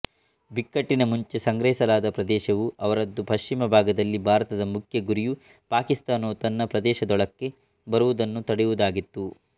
ಬಿಕ್ಕಟ್ಟಿನ ಮುಂಚೆ ಸಂಗ್ರಹಿಸಲಾದ ಪ್ರದೇಶವು ಅವರದ್ದು ಪಶ್ಚಿಮ ಭಾಗದಲ್ಲಿ ಭಾರತದ ಮುಖ್ಯ ಗುರಿಯು ಪಾಕಿಸ್ತಾನವು ತನ್ನ ಪ್ರದೇಶದೊಳಕ್ಕೆ ಬರುವುದನ್ನು ತಡೆಯುವದಾಗಿತ್ತು